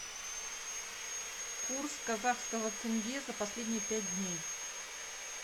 курс казахского тенге за последние пять дней